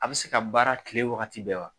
A bɛ se ka baara tile wagati bɛɛ wa?